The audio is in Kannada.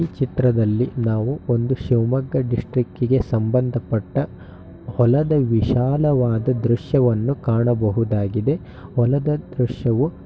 ಈ ಚಿತ್ರದಲ್ಲಿ ನಾವು ಒಂದು ಶಿವಮೊಗ್ಗ ಡಿಸ್ಟಿಕಗೆ ಸಂಭಂದಪಟ್ಟ ಹೊಲದ ವಿಶಾಲವಾದ ದೃಶ್ಯವನ್ನು ಕಾಣಬಹುದಾಗಿದೆ. ಹೊಲದ ದೃಶ್ಯವು--